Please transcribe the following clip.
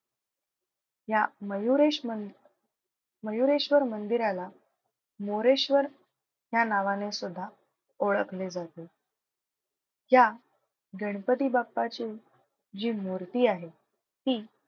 या मयुरेश मन मयुरेश्वर मंदिराला मोरेश्वर ह्या नावाने सुद्धा ओळखले जाते. या गणपती बाप्पाची जी मूर्ती आहे ती,